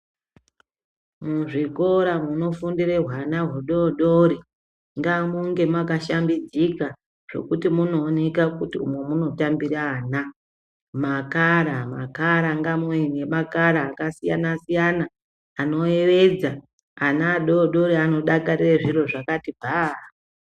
Muzvikora munofundiira hwana hudodori ngamunge makashambidzika kuti munooneka kuti munotambira ana makara ,makara ngamuve nemakara akasiyana siyana anoerrdza ana adodori anodakarira zviro zvakati bhaa.